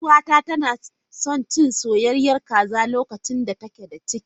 Yar uwata tana son cin soyayyen kaza lokacin da take da ciki.